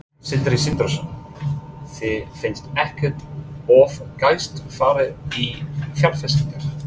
Sindri Sindrason: Þér finnst ekkert of geyst farið í fjárfestingar?